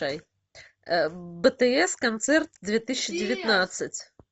бтс концерт две тысячи девятнадцать